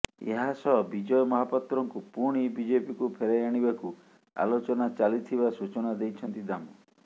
ଏହା ସହ ବିଜୟ ମହାପାତ୍ରଙ୍କୁ ପୁଣି ବିଜେପିକୁ ଫେରାଇ ଆଣିବାକୁ ଆଲୋଚନା ଚାଲିଥିବା ସୂଚନା ଦେଇଛନ୍ତି ଦାମ